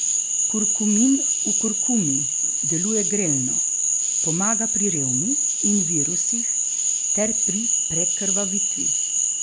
Kurkumin v kurkumi deluje grelno, pomaga pri revmi in virusih ter pri prekrvavitvi.